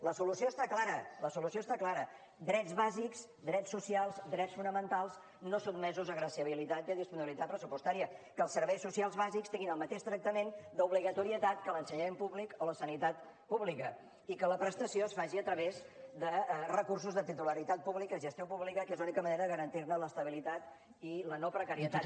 la solució està clara la solució està clara drets bàsics drets socials drets fonamentals no sotmesos a graciabilitat i a disponibilitat pressupostària que els serveis socials bàsics tinguin el mateix tractament d’obligatorietat que l’ensenyament públic o la sanitat pública i que la prestació es faci a través de recursos de titularitat pública de gestió pública que és l’única manera de garantir ne l’estabilitat i la no precarietat